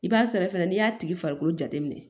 I b'a sɔrɔ fɛnɛ n'i y'a tigi farikolo jateminɛ